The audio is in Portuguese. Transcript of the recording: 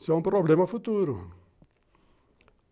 Isso é um problema futuro.